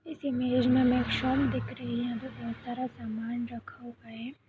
इस इ मेज में हमें एक शॉप दिख रही है यहाँ पे बोहोत सारा सामान रखा हुआ है।